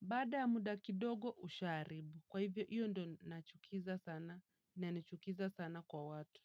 baada muda kidogo ushaharibu. Kwa hivyo, hiyo ndo nachukiza sana, inanichukiza sana kwa watu.